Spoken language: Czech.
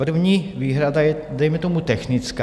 První výhrada je dejme tomu technická.